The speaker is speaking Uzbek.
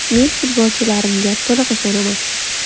Men futbolchilarimga to‘liq ishonaman.